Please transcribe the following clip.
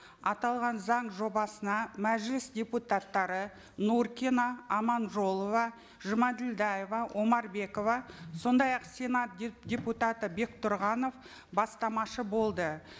аталған заң жобасына мәжіліс депутаттары нуркина аманжолова жұмаділдәева омарбекова сондай ақ сенат депутаты бектұрғанов бастамашы болды